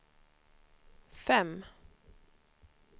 fem